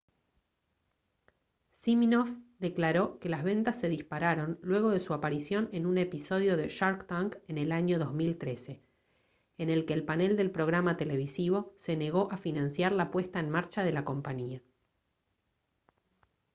siminoff declaró que las ventas se dispararon luego de su aparición en un episodio de shark tank en el año 2013 en el que el panel del programa televisivo se negó a financiar la puesta en marcha de la compañía